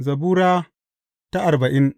Zabura Sura arbain